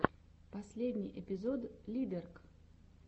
последний эпизод лидэрк